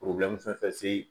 fɛn fɛn se